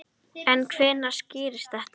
En hvenær skýrist þetta?